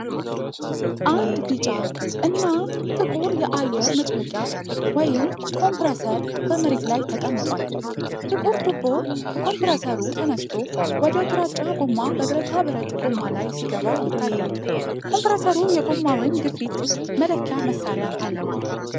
አንድ ቢጫ እና ጥቁር የአየር መጭመቂያ (ኮምፕረሰር) በመሬት ላይ ተቀምጧል። ጥቁር ቱቦ ከኮምፕረሰሩ ተነስቶ ወደ ግራጫ ጎማ በብረታ ብረት ጎማ ላይ ሲገባ ይታያል። ኮምፕረሰሩ የጎማውን ግፊት መለኪያ መሳሪያ አለው።